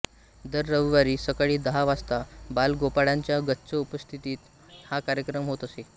दर रविवारी सकाळी दहा वाजता बालगोपाळांच्या गच्च उपस्थितीत हा कार्यक्रम होत असे